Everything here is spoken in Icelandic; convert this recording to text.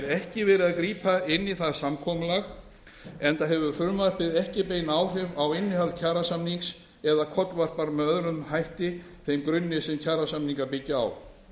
ekki verið að grípa inn í það samkomulag enda hefur frumvarp ekki bein áhrif á innihald kjarasamnings eða kollvarpar með öðrum hætti þeim grunni sem kjarasamningar byggja á